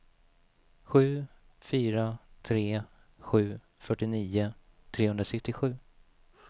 sju fyra tre sju fyrtionio trehundrasextiosju